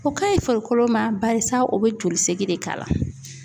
O ka ɲi farikolo ma , balisa o bɛ joli segin de k'a la.